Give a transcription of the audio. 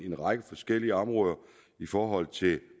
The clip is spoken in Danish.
en række forskellige områder i forhold til